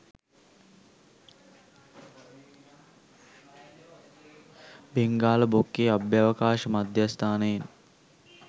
බෙංගාල බොක්කේ අභ්‍යවකාශ මධ්‍යස්ථානයෙන්